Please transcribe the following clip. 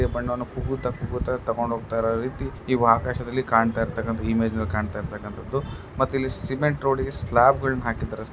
ಅಣ್ಣಾವನ್ನು ಕುಗ್ಗುತ್ತಾ ಕೂಗುತ್ತಾ ತಗೊಂಡು ಹೋಗ್ತಾ ಇರೋ ರೀತಿನಿವ್ ಆಕಾಶ್ ದಲ್ಲಿಕಾಣ್ತಾಇರುವಂತಹದ್ದು ಇಮೇಜ್ ದಲ್ಲಿ ಕಾಣ್ತಾಇರುವಂತಹದ್ದು ಮತ್ತೆ ಇಲ್ಲಿ ಸಿಮೆಂಟ್ ರೋಡ ಹೆ ಸ್ಲಾಪ್ ಗಳನ್ನೂ ಹಾಕಿದ್ದಾರೆ.